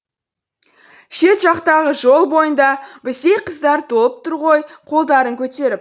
шет жақтағы жол бойында біздей қыздар толып тұр ғой қолдарын көтеріп